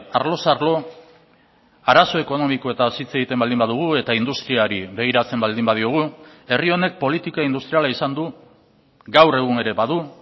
arloz arlo arazo ekonomikoetaz hitz egiten baldin badugu eta industriari begiratzen baldin badiogu herri honek politika industriala izan du gaur egun ere badu